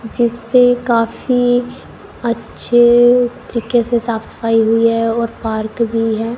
जिसपे काफी अच्छे तरीके से साफ सफाई हुई है और पार्क भी है।